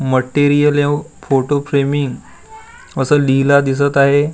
Material यव photo असं लिहिला दिसत आहे.